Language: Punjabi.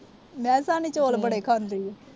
ਮੈਂ ਕਿਹਾ ਸਾਹਨੀ ਚੌਲ ਬੜੇ ਖਾਂਦੀ ਆ।